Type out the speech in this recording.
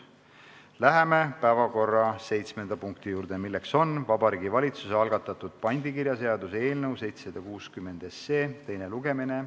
Läheme päevakorra seitsmenda punkti juurde, milleks on Vabariigi Valitsuse algatatud pandikirjaseaduse eelnõu 760 teine lugemine.